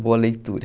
Boa leitura.